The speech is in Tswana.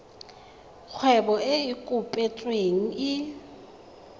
kgwebo e e kopetsweng e